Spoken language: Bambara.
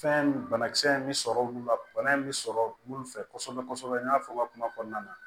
Fɛn banakisɛ in bɛ sɔrɔ olu la bana in bɛ sɔrɔ minnu fɛ kosɛbɛ kosɛbɛ n y'a fɔ n ka kuma kɔnɔna na